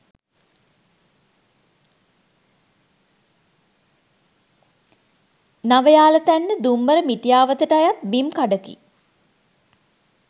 නවයාලතැන්න දුම්බර මිටියාවතට අයත් බිම් කඩකි